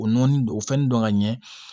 O nɔni o fɛnnin dɔn ka ɲɛ